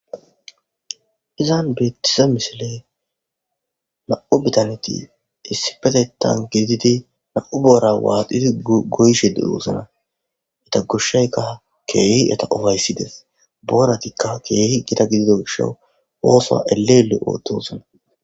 izan beettize misiley nam'u bitaneti isipetetan gididi nam'u boora waaxidi goyshe de'osona eta goshshayka keehi eta upayssides, booratikka keehi gida gidido gishawu oosuwa ele ele ootosana